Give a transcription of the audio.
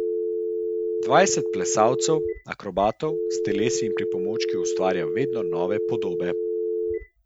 Dvajset plesalcev, akrobatov, s telesi in pripomočki ustvarja vedno nove podobe.